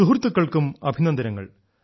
സുഹൃത്തുക്കൾക്കും അഭിനന്ദനങ്ങൾ